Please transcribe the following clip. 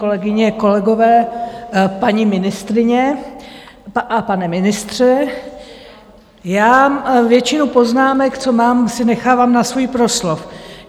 Kolegyně, kolegové, paní ministryně a pane ministře, já většinu poznámek, co mám, si nechávám na svůj proslov.